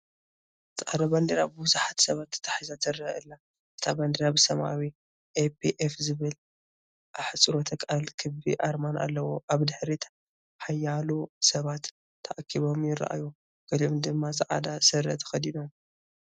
ጻዕዳ ባንዴራ ብቡዙሓት ሰባት ተታሒዛ ትረአ ኣላ። እታ ባንዴራ ብሰማያዊ "APF" ዝብል ኣሕጽሮተ ቃልን ክቢ ኣርማን ኣለዋ። ኣብ ድሕሪት ሓያሎ ሰባት ተኣኪቦም ይረኣዩ፡ ገሊኦም ድማ ጻዕዳ ስረ ተኸዲኖም።